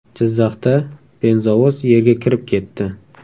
Jizzaxda benzovoz yerga kirib ketdi.